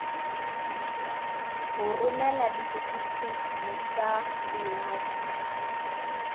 go romela setifikeiti sa boingwadišo